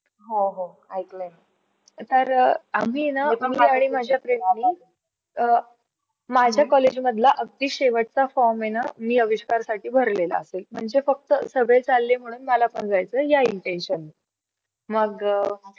अं माझ्या college मधला अगदी शेवट चा form आहे ना, मी अविष्कारसाठी भरलेला असे आणि तो फक्ता सगळे चालले म्हणून मला पण जायचं या Intention. नी मग